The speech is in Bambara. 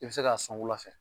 I be se ka san wula fɛ